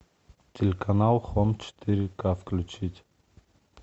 телеканал хоум четыре ка включить